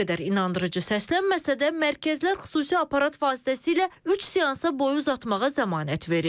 Nə qədər inandırıcı səslənməsə də mərkəzlər xüsusi aparat vasitəsilə üç seansa boyu uzatmağa zəmanət verir.